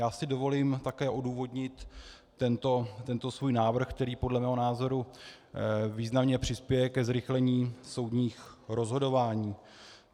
Já si dovolím také odůvodnit tento svůj návrh, který podle mého názoru významně přispěje ke zrychlení soudních rozhodování.